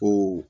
Ko